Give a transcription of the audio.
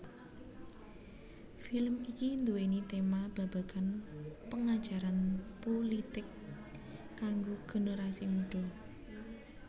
Film iki duwéni tema babagan pengajaran pulitik kanggo generasi mudha